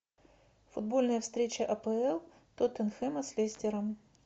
футбольная встреча апл тоттенхэма с лестером